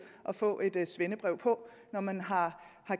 at få et svendebrev på når man har